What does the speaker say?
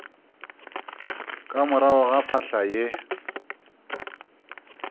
ka morago ga phahla ye